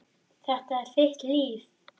Og mest yfir Dúu.